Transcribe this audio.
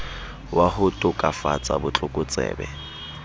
wa ho tokafatsa bo tlokotsebe